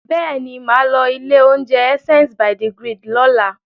Bẹ́ẹ̀ ni, mà á lọ ilé-oúnjẹ Essence by the Grid lọ́la.